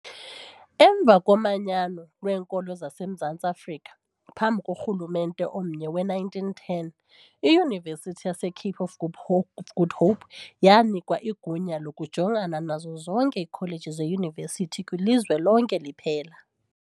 Emva komanyano lweekoloni zasemZantsi Afrika, phantsi korhulumente omnye ngowe-1910, iYunivesithi yaseCape of Good Hope Good Hope yanikwa igunya lokujongana nazo zonke iikholeji zeYunivesithi kwilizwe lonke liphela.